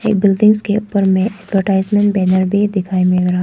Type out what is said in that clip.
एक बिल्डिंग्स के ऊपर में एडवर्टाइजमेंट बैनर भी दिखाई मिल रहा है।